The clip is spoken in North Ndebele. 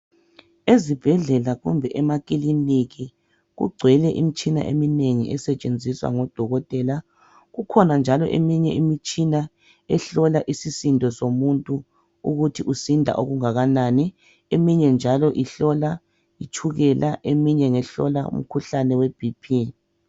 ezibhedlela kumbe ema kiliniki kugcwele imitshina esetshenziswa ngodokotela ,kukhona njalo eminye imitshina ehlola isisindo so muntu ukuthi usinda kangakanani ,eminye njalo ihlola itshukela eminye ngehlola umkhuhlane we BP